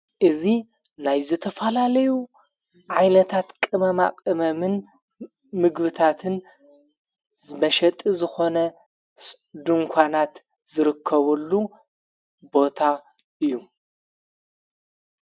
እዙ ናይ ዘተፋላለዩ ዓይነታት ቅመማቐመምን ምግብታትን መሸጢ ዝኾነድንኳናት ዝርከበሉ ቦታ እዩ።